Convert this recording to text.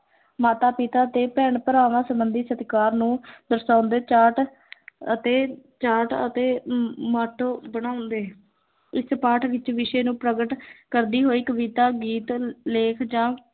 ਮਾਤਾ-ਪਿਤਾ ਤੇ ਭੈਣ-ਭਰਾਵਾਂ ਸਬੰਧੀ ਸਤਿਕਾਰ ਨੂੰ ਦਰਸਾਉਂਦੇ ਚਾਰਟ ਅਤੇ ਚਾਰਟ ਅਤੇ ਅਮ ਮਾਟੋ ਬਣਾਉਂਦੇ, ਇਸ ਪਾਠ ਵਿੱਚ ਵਿਸ਼ੇ ਨੂੰ ਪ੍ਰਗਟ ਕਰਦੀ ਹੋਈ ਕਵਿਤਾ, ਗੀਤ, ਲੇਖ ਜਾਂ